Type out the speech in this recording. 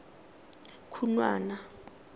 khunwana